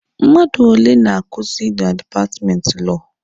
Mmadụ ole na-akuzi na dipatmenti Lọọ?